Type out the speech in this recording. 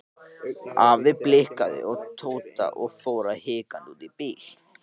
Afi blikkaði Tóta og fór hikandi út í bíl.